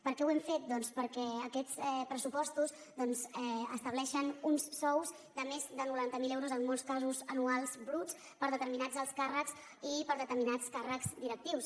per què ho hem fet doncs perquè aquests pressupostos estableixen uns sous de més de noranta mil euros en molts casos anuals bruts per a determinats alts càrrecs i per a determinats càrrecs directius